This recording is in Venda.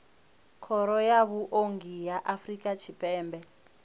khoro ya vhuongi ya afrika tshipembe